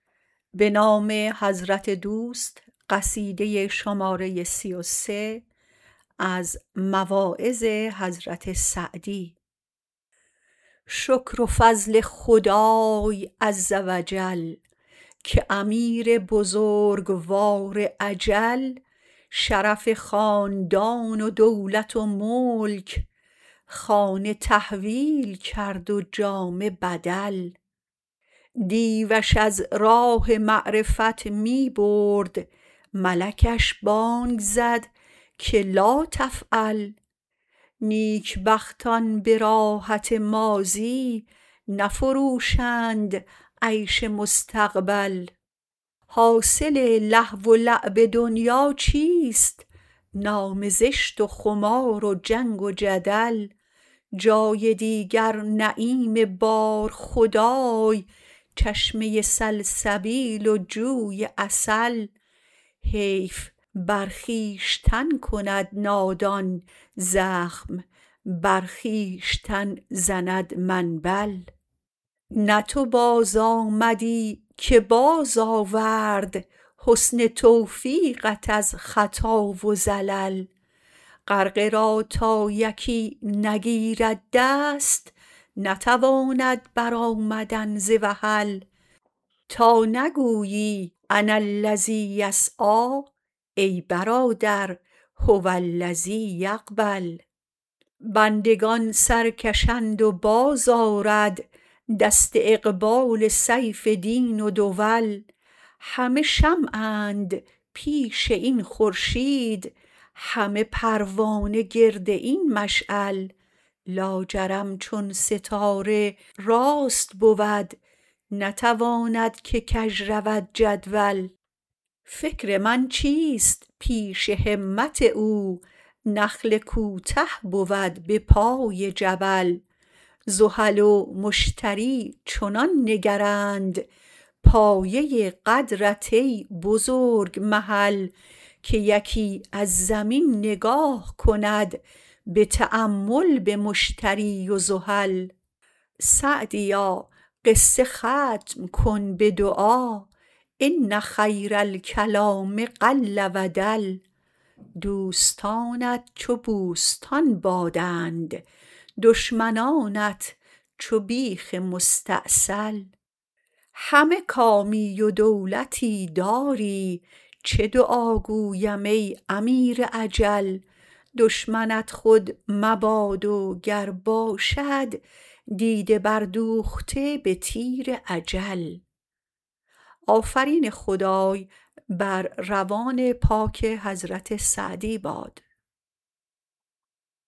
شکر و فضل خدای عزوجل که امیر بزرگوار اجل شرف خاندان و دولت و ملک خانه تحویل کرد و جامه بدل دیوش از راه معرفت می برد ملکش بانگ زد که لاتفعل نیک بختان به راحت ماضی نفروشند عیش مستقبل حاصل لهو ولعب دنیا چیست نام زشت و خمار و جنگ و جدل جای دیگر نعیم بار خدای چشمه سلسبیل زند منبل نه تو بازآمدی که بازآورد حسن توفیقت از خطا و زلل غرقه را تا یکی نگیرد دست نتواند برآمدن ز وحل تا نگویی اناالذی یسعی ای برادر هوالذی یقبل بندگان سرکشند و بازآرد دست اقبلا سیف دین و دول همه شمعند پیش این خورشید همه پروانه گرد این مشعل لاجرم چون ستاره راست بود نتواند که کژ رود جدول فکر من چیست پیش همت او نخل کوته بود به پای جبل زحل و مشتری چنان نگرند پایه قدرت ای بزرگ محل که یکی از زمین نگاه کند به تأمل به مشتری و زحل سعدیا قصه ختم کن به دعا ان خیرالکلام قل و دل دوستانت چو بوستان بادند دشمنانت چو بیخ مستأصل همه کامی و دولتی داری چه دعا گویم ای امیر اجل دشمنت خود مباد و گر باشد دیده بردوخته به تیر اجل